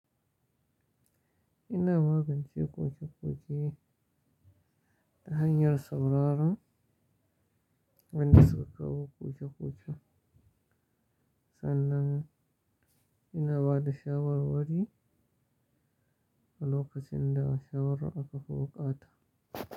Ina magance ƙoƙe-ƙoƙe ta hanyar sauraron wadanda suka kawo ƙoƙe-ƙoƙe, sannan ina ba da shawarwari a lokacin da shawara aka fi bukata.